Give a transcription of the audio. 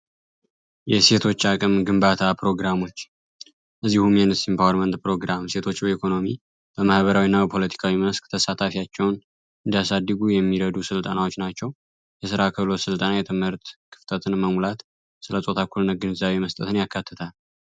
የሴቶች አቅም ግንባታ ፕሮግራሞች እዲሁም ውመን ፕሮግራም ሴቶች ኢኮኖሚ በማህበሪዊ ና የፖለቲካዊ መስክ ተሳታፊቸውን እንዲያሳድጉ የሚረዱ ሥልጣናዎች ናቸው። የሥራ ከሎት ሥልጣና የትምህርት ክፍተትን መሙላት ስለ ጾታ እኩልነት ግንዛቤ መስጠትን ያካትታል።